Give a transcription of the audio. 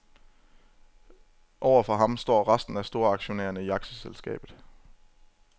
Over for ham står resten af storaktionærerne i aktieselskabet.